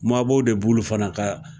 Mabɔw de b'olu fana ka